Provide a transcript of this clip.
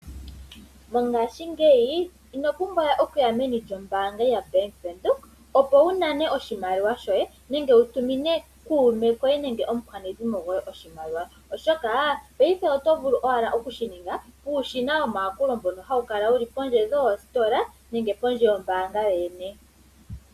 Mongashingeyi ino pumbwawe okuya meni lyombaanga ya bank Windhoek opo wu nane oshimaliwa shoye nenge wu tumine kuume koye nenge omukwanezimo goye oshimaliwa oshoka paife oto vulu owala oku shininga puushina womayakulo mbono hawu kala wuli pondje dhoostola nenge pondje yombaanga yoyene